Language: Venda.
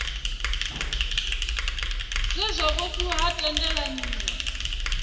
zwe zwa vhofhiwa ha tendelaniwa